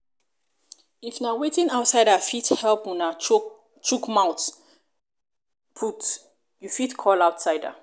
if na wetin outsider fit help una chook mouth put you fit call outsider